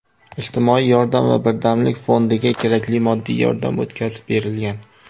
Ijtimoiy yordam va birdamlik fondiga kerakli moddiy yordam o‘tkazib berilgan.